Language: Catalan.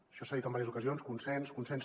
això s’ha dit en diverses ocasions consens consens